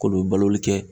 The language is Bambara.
K'olu baloli kɛ